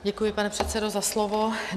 Děkuji, pane předsedo, za slovo.